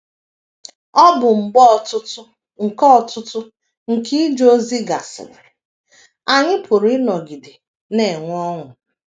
Ọbụ mgbe ọtụtụ nke ọtụtụ nke ije ozi gasịrị, anyị pụrụ ịnọgide na - enwe ọṅụ